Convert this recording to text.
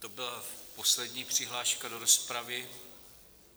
To byla poslední přihláška do rozpravy.